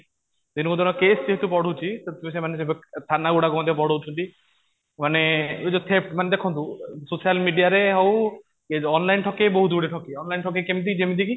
ଦିନକୁ ଦିନ କେସ ଯେହେତୁ ବଢୁଛି ସେମାନେ ସେବେ ଠୁ ଥାନା ଗୁଡାକ ମଧ୍ୟ ବଢାଉଛନ୍ତି ମାନେ ମାନେ ଦେଖନ୍ତୁ ସୋସିଆଲ ମିଡ଼ିଆ ରେ ହଉ online ଠକେଇ ବହୁତ ଗୁଡ଼େ ଠକେଇ onlineଠକେଇ କେମିତି କି ଯେମିତି